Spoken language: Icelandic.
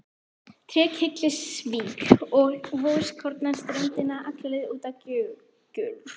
Trékyllisvík og vogskorna ströndina, alla leið út á Gjögur.